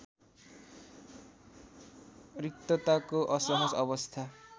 रिक्तताको असहज अवस्था